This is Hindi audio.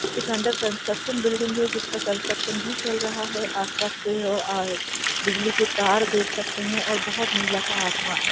कुछ अन्डर कंस्ट्रक्शन बिल्डिंग है जिसका कंस्ट्रक्शन भी चल रहा है आस-पास पेड़ और बिजली के तार देख सकते हैं और बहोत नीला सा आसमान--